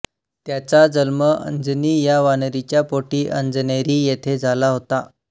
त्याचा जन्म अंजनी या वानरीच्या पोटी अंजनेरी येथे झाला होता